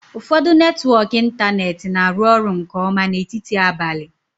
Ụfọdụ netwọk ịntanetị na-arụ ọrụ nke ọma n'etiti abalị.